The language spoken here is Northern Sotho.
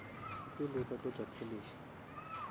pele o ka tlotša polish